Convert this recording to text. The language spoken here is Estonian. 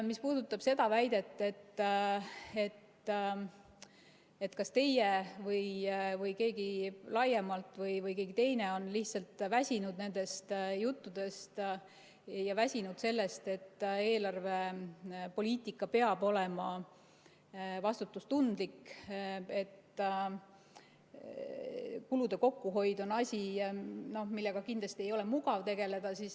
Mis puudutab seda väidet, et teie või teie laiemalt või keegi teine on lihtsalt väsinud nendest juttudest ja väsinud sellest, et eelarvepoliitika peab olema vastutustundlik, siis kulude kokkuhoid on asi, millega kindlasti ei ole mugav tegeleda.